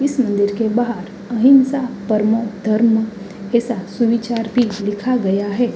इस मंदिर के बाहर अहिंसा परमों धर्मों के साथ सुविचार भी लिखा गया है।